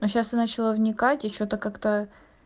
но сейчас я начала вникать и что-то как-то